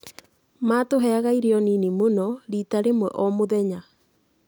Maatũheaga irio nini mũno, rita rĩmwe o mũthenya.